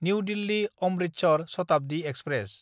new दिल्ली–अमृतसर Shatabdi express